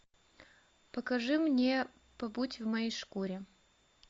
покажи мне побудь в моей шкуре